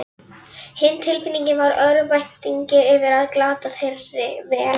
Hin tilfinningin var örvæntingin yfir að glata þeirri vel